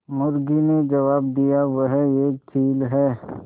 मुर्गी ने जबाब दिया वह एक चील है